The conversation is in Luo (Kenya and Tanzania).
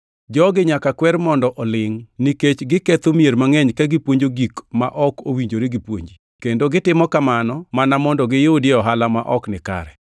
Jogi nyaka kwer mondo olingʼ, nikech giketho mier mangʼeny ka gipuonjo gik ma ok owinjore gipuonji; kendo gitimo kamano mana mondo giyudie ohala ma ok nikare.